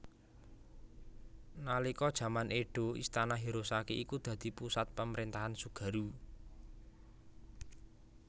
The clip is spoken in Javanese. Nalika jaman Edo Istana Hirosaki iku dadi pusat pamrentahan Tsugaru